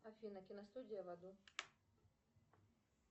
афина киностудия в аду